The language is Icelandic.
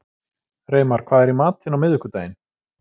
Reimar, hvað er í matinn á miðvikudaginn?